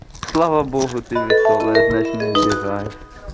слава богу ты весёлая значит не обижаешся